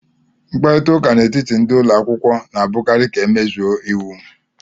Mkparịta ụka n'etiti ndị ụlọ akwụkwọ na-abụkarị ka emezue iwu